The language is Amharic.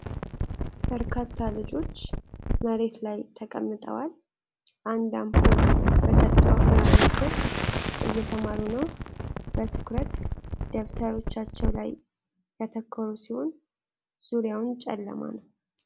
በርካታ ልጆች መሬት ላይ ተቀምጠው፣ አንድ አምፖል በሰጠው ብርሃን ስር እየተማሩ ነው። በትኩረት ደብተሮቻቸው ላይ ያተኮሩ ሲሆን፣ ዙሪያው ጨለማ ነው።